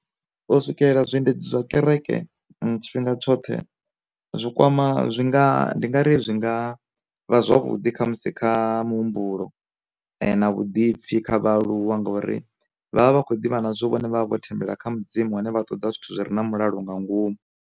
U swikelela zwiendedzi zwa kereke tshifhinga tshoṱhe, zwi kwama zwi nga ndi nga ri zwi nga vha zwavhuḓi kha musi kha muhumbulo na vhuḓipfi kha vhaaluwa ngauri vha vha vha khou ḓivha nazwo vhone vha vha vho thembela kha mudzimu hune vha ṱoḓa zwithu zwi re na mulalo nga ngomu.